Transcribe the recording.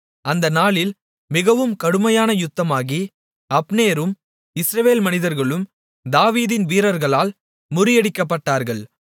அந்த நாளில் மிகவும் கடுமையான யுத்தமாகி அப்னேரும் இஸ்ரவேல் மனிதர்களும் தாவீதின் வீரர்களால் முறியடிக்கப்பட்டார்கள்